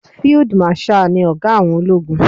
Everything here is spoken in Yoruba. Field marshal ni ọ̀gá àwọn ológun.